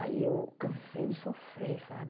Aí eu cansei de sofrer, sabe?